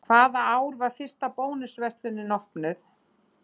Hvaða ár var fyrsta Bónus verslunin opnuð?